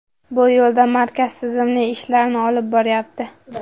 Bu yo‘lda markaz tizimli ishlarni olib boryapti”.